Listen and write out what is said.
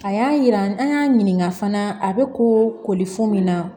A y'a yira an y'a ɲininka fana a bɛ koli f'u min na